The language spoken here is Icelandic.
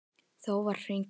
Þór var að hringja áðan.